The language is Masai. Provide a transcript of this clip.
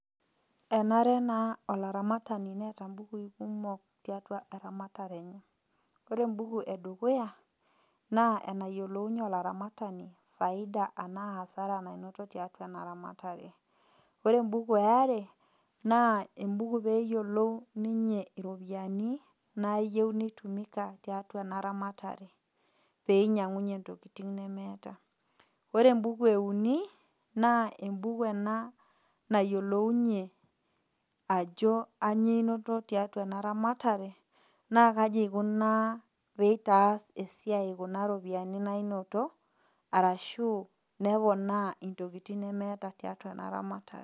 E nare naa olaramatani neata naa imbukui kumok tiatua eramatare enye, ore embuku e dukuya, naa anayiolounye olaramatani ifaida anaa asara nainoto tiatua ena ramatare. Ore embuku e are naa embuku pee eyiolou ninye iropiani nayiou neitumika tiatua ena ramatare, peinyang'unye intokitin nemeata. Ore embuku e uni, naa embuku ena nayiolounye ajo ainyoo einoto tiatua ena ramatare naa kaji eikunaa peitaas esiai kuna ropiani nainoto arashu neponaa intokitin nemeata tiatua ena ramatare.